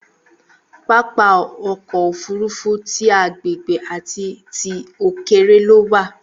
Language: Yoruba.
Pápá ọkọ òfurufú tí agbègbè àti tí òkèèré lo wa.